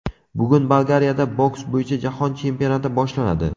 Bugun Bolgariyada boks bo‘yicha jahon chempionati boshlanadi.